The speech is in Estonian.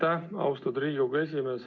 Aitäh, austatud Riigikogu esimees!